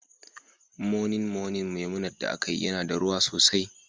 Moninmonin Memunant da aka yi yana da ruwa sosai